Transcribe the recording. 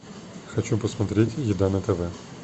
хочу посмотреть еда на тв